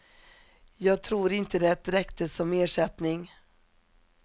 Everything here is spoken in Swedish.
Jag tror inte det räckte som ersättning.